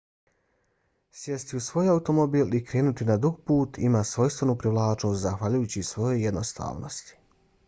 sjesti u svoj automobil i krenuti na dug put ima svojstvenu privlačnost zahvaljujući svojoj jednostavnosti